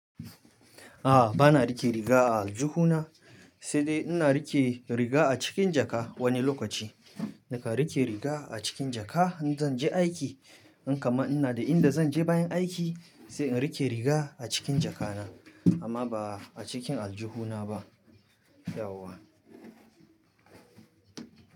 A'a, ba na rike riga a aljihuna, sai dai ina rike riga a cikin jaka wani lokaci. Na kan rike riga acikin jaka, in zan je aiki in kaman ina da in da zan je bayan aiki sai in rike riga a cikin jakana amma ba acikin aljihuna ba yauwa.